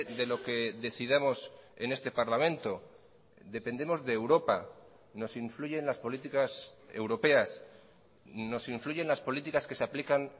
de lo que decidamos en este parlamento dependemos de europa nos influyen las políticas europeas nos influyen las políticas que se aplican